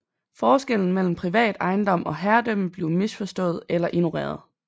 Forskellen mellem privat ejendom og herredømme blev misforstået eller ignoreret